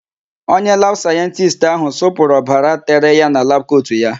Onye labụ sayentisti áhụ̀ sụpụrụ obara tere ya na labụ kotu ya.